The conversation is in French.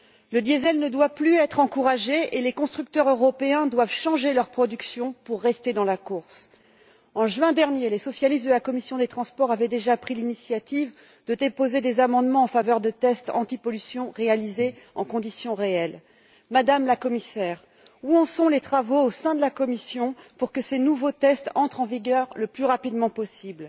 Le diesel ne doit plus être encouragé et les constructeurs européens doivent changer leur production pour rester dans la course. En juin dernier, les socialistes de la commission des transports et du tourisme avaient déjà pris l'initiative de déposer des amendements en faveur de tests antipollution réalisés en conditions réelles. Madame la Commissaire, où en sont les travaux, au sein de la Commission, pour que ces nouveaux tests entrent en vigueur le plus rapidement possible?